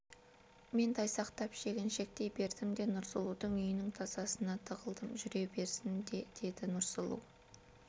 мен тайсақтап шегіншектей бердім де нұрсұлудың үйінің тасасына тығылдым жүре берсін де деді нұрсұлу